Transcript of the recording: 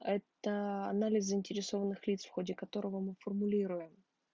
это анализ заинтересованных лиц в ходе которого мы формулируем